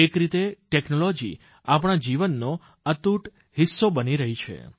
એક રીતે ટેકનોલોજી આપણા જીવનનો અતૂટ હિસ્સો બની રહી છે